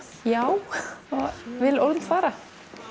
já og vil ólm fara